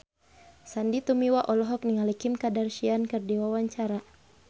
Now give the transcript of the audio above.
Sandy Tumiwa olohok ningali Kim Kardashian keur diwawancara